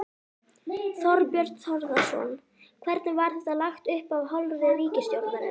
Þorbjörn Þórðarson: Hvernig var þetta lagt upp af hálfu ríkisstjórnarinnar?